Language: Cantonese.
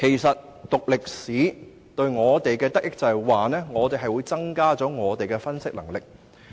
修讀歷史對我們的益處，是可以增強我們的分析能力。